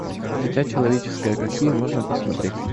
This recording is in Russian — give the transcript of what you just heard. дитя человеческое какие можно посмотреть